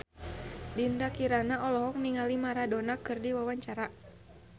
Dinda Kirana olohok ningali Maradona keur diwawancara